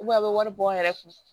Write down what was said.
a bɛ wari bɔ n yɛrɛ kun